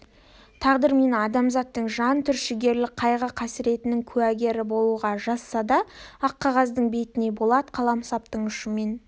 тағдыр мені адамзаттың жан түршігерлік қайғы-қасіретінің куәгері болуға жазса да ақ қағаздың бетіне болат қаламсаптың ұшымен